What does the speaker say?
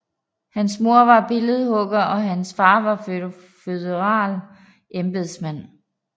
Hans mor var billedhugger og hans far føderal embedsmand